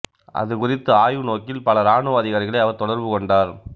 அது குறித்து ஆய்வு நோக்கில் பல ராணுவ அதிகாரிகளை அவர் தொடர்புகொண்டார்